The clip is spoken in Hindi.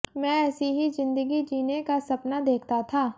मैं ऐसी ही जिंदगी जीने का सपना देखता था